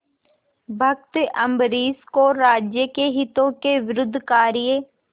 भक्त अम्बरीश को राज्य के हितों के विरुद्ध कार्य